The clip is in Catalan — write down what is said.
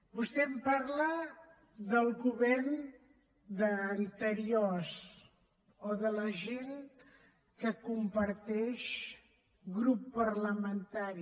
vostè em parla del govern anterior o de la gent que comparteix grup parlamentari